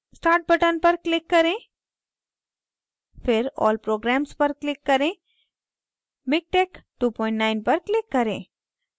start button पर click करें फिर all programs पर click करें miktex29 पर click करें